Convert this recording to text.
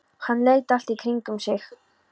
Hann leit allt í kringum sig.